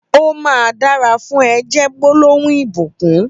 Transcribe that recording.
''Ó mà dàrà fùn è'' jè gbólóhún ibúkùn